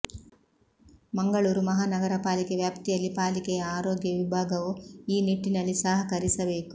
ಮಂಗಳೂರು ಮಹಾನಗರಪಾಲಿಕೆ ವ್ಯಾಪ್ತಿಯಲ್ಲಿ ಪಾಲಿಕೆಯ ಆರೋಗ್ಯ ವಿಭಾಗವು ಈ ನಿಟ್ಟಿನಲ್ಲಿ ಸಹಕರಿಸಬೇಕು